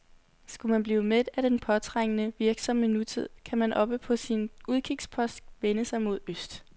Skulle man blive mæt af den påtrængende, virksomme nutid, kan man oppe på sin udkigspost vende sig mod øst.